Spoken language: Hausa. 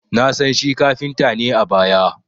Na san shi kafinta ne a baya